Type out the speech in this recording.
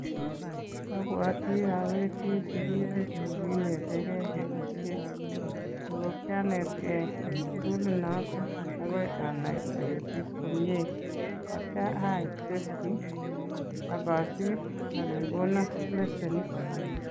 Abwati awendi sukulit ne kinetekei ketisiet, ako kyanetkei eng sukulinoto akoi anai aketis komie, atya aai testi ak asir akekono lesenit.